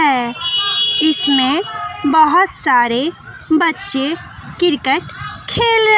है इसमें बहुत सारे बच्चे क्रिकेट खेल र--